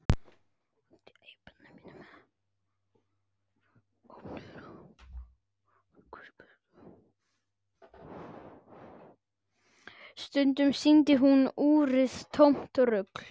Stundum sýndi úrið tómt rugl.